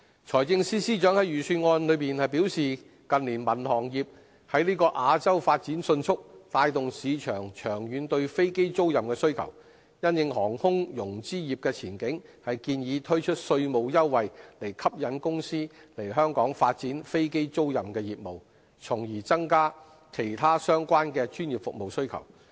財政司司長在預算案中表示近年民航業在亞洲發展迅速，帶動市場長遠對飛機租賃的需求，因應航空融資業的前景，建議推出稅務優惠，以吸引公司來香港發展飛機租賃業務，從而增加其他相關的專業服務需求。